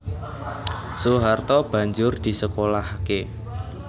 Soeharto banjur disekolahaké